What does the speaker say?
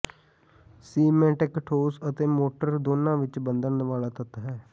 cement ਇੱਕ ਠੋਸ ਅਤੇ ਮੋਟਰ ਦੋਨਾਂ ਵਿੱਚ ਬੰਧਨ ਵਾਲਾ ਤੱਤ ਹੈ